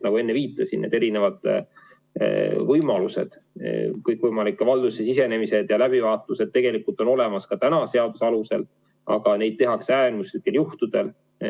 Nagu enne viitasin, erinevad võimalused, kõikvõimalikud valdusesse sisenemised ja läbivaatused tegelikult on võimalikud ka praeguse seaduse alusel, aga seda tehakse äärmuslikel juhtudel.